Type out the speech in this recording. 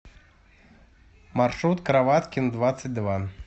маршрут кроваткин двадцать два